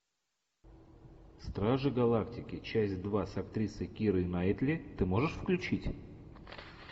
стражи галактики часть два с актрисой кирой найтли ты можешь включить